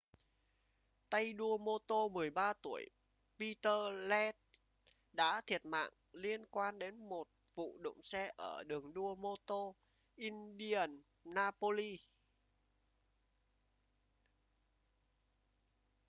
tay đua mô tô 13 tuổi peter lenz đã thiệt mạng liên quan đến một vụ đụng xe ở đường đua mô-tô indianapolis